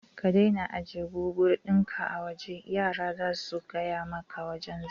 Ka daina ajjiye babur ɗin ka a waje, yara zasu yaga maka wajan zaman